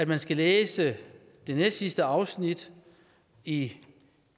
man skal læse det næstsidste afsnit i